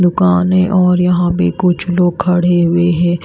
दुकान है और यहां पे कुछ लोग खड़े हुए हैं।